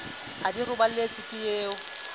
ha di robaletse ke o